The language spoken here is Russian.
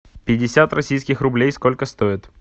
пятьдесят российских рублей сколько стоит